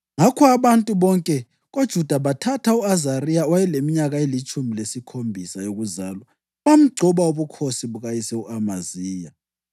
Ngakho abantu bonke koJuda bathatha u-Azariya, owayeleminyaka elitshumi lesikhombisa yokuzalwa bamgcoba ubukhosi bukayise u-Amaziya.